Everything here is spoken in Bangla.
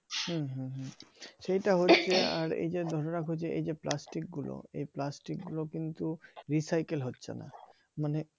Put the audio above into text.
হুম হুম হুম সেটা হচ্ছে আর এই যে ধরে রাখো যে এই যে plastic গুলো এই plastic গুলো কিন্তু recycle হচ্ছে না মানে